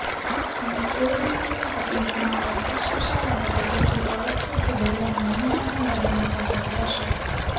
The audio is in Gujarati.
અહીં સ્ક્રૅપબુકિંગની તકનીકમાં આવા ખુશખુશાલ અને તેજસ્વી કવર છે જે દરિયાની ઉનાળામાં યાદોને સંગ્રહ કરશે